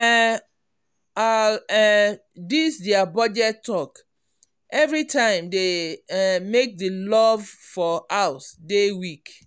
um all um these their budget talk every time dey um make the love for house dey weak.